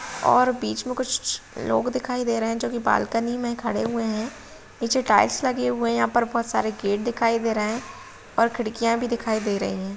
और बीच मे कुछ लोग दिखाई दे रहे है जो की बालकनी मे खड़े हुए हैं। नीचे टाइल्स लगी हुई हैं। यहाँ पर बोहोत सारे गेट लगे दिखाई दे रहे हैं और खिड़कियां भी दिखाई दे रही हैं।